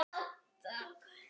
Því var hafnað.